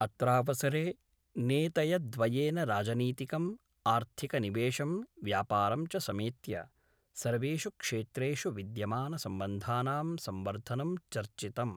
अत्रावसरे नेतयद्वयेन राजनीतिकम्, आर्थिकनिवेशं, व्यापारं च समेत्य सर्वेषु क्षेत्रेषु विद्यमानसम्बन्धानां संवर्धनं चर्चितम्।